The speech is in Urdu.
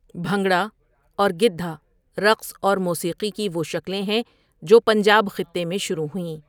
بھنگڑا اور گِدھا رقص اور موسیقی کی وہ شکلیں ہیں جو پنجاب خطے میں شروع ہوئیں۔